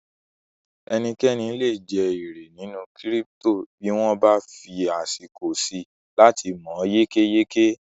Ẹnikẹ́ni lè je èrè nínú kírípítò bí wọ́n bá fí àsìkò síi láti mọ̀ yékéyéké